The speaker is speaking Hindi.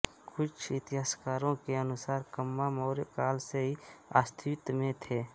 कुछ इतिहासकारों के अनुसार कम्मा मौर्य काल से ही अस्तित्व में थे